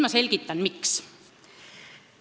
Ma selgitan nüüd, miks.